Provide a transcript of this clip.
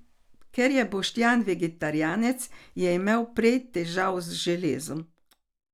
Ker je Boštjan vegetarijanec, je imel prej težav z železom.